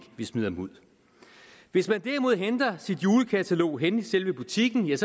vi smider dem ud hvis man derimod henter sit julekatalog henne i selve butikken